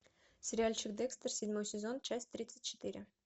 сериальчик декстер седьмой сезон часть тридцать четыре